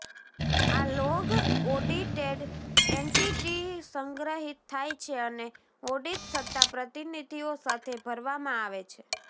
આ log audited entity સંગ્રહિત થાય છે અને ઓડિટ સત્તા પ્રતિનિધિઓ સાથે ભરવામાં આવે છે